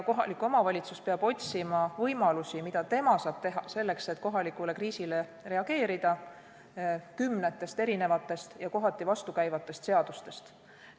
Kohalik omavalitsus peab kohalikule kriisikoldele reageerides otsima lahendusi kümnetest erinevatest ja kohati vastukäivatest seadustest.